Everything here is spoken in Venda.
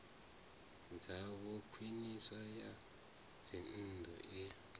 dzavho khwiniso ya dzinnḓu i